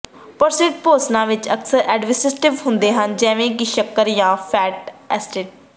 processed ਭੋਜਨਾਂ ਵਿੱਚ ਅਕਸਰ ਐਡਟੀਵਿਵਵਸ ਹੁੰਦੇ ਹਨ ਜਿਵੇਂ ਕਿ ਸ਼ੱਕਰ ਜਾਂ ਫੈਟ ਅਸਟੇਟਸ